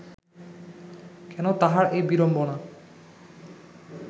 কেন তাঁহার এ বিড়ম্বনা